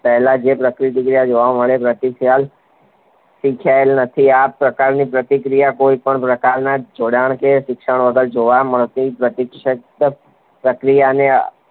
પહેલાં જે પ્રતિક્રિયા જોવા મળે જે પ્રતિક્રિયા શીખાયેલી નથી. આ પ્રકારની પ્રતિક્રિયા કોઈપણ પ્રકારનાં જોડાણ કે શિક્ષણ વગર જોવા મળતી પ્રતિક્ષિપ્ત પ્રતિક્રિયાને